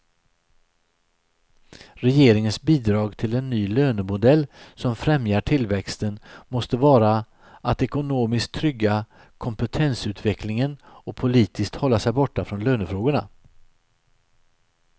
Regeringens bidrag till en ny lönemodell som främjar tillväxten måste vara att ekonomiskt trygga kompetensutvecklingen och politiskt hålla sig borta från lönefrågorna.